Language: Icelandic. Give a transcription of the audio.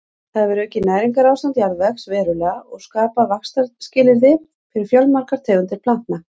Það hefur aukið næringarástand jarðvegs verulega og skapað vaxtarskilyrði fyrir fjölmargar tegundir plantna.